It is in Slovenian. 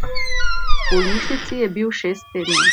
V bolnišnici je bil šest tednov.